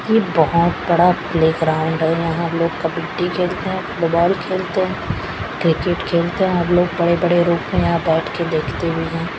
ये बहोत बड़ा प्ले ग्राउंड है यहाँ लोग कबड्डी खेलते है फुटबॉल खेलते है क्रिकेट खेलते है और लोग बड़े-बड़े रुक के यहाँ बैठ के देखते भी है।